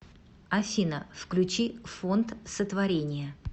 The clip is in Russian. афина включи фонд сотворение